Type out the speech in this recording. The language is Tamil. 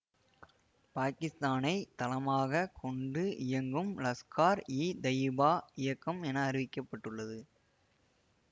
பாக்கித்தானைத் தளமாக கொண்டு இயங்கும் லஷ்கார்இதயிபா இயக்கம் என அறிவிக்கபட்டுள்ளது